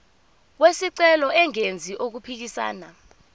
wesicelo engenzi okuphikisana